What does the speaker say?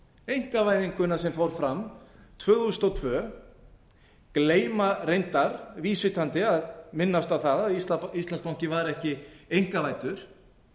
einkavæðinguna sem fór fram tvö þúsund og tvö gleyma reyndar vísvitandi að minnast á það að íslandsbanki var ekki einkavæddur